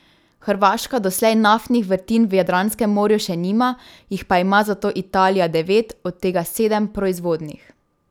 Hrvaška doslej naftnih vrtin v Jadranskem morju še nima, jih pa ima zato Italija devet, od tega sedem proizvodnih.